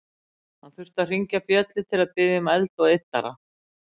Hann þurfti að hringja bjöllu til að biðja um eld og yddara.